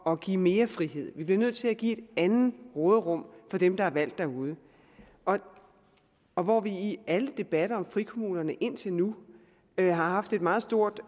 at give mere frihed vi bliver nødt til at give et andet råderum for dem der er valgt derude og og hvor vi i alle debatter om frikommunerne indtil nu har haft et meget stort